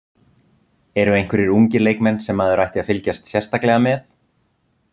Eru einhverjir ungir leikmenn sem maður ætti að fylgjast sérstaklega með?